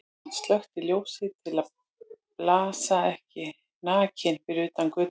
Hann slökkti ljósið til að blasa ekki nakinn við utan af götunni.